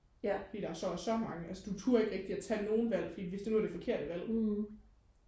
fordi der så er så mange altså du turde ikke og tage nogen valg fordi hvis det nu er det forkerte valg